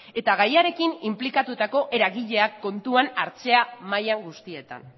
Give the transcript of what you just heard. eta gairekin inplikatutako eragileak kontuan hartzean maila guztietan